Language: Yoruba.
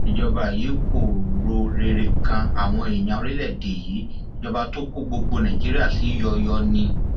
ìjọba yìí kò ro rere kan àwọn èèyàn orílẹèdè yìí ìjọba tó kó gbogbo nàìjíríà sí yọọyọọ ni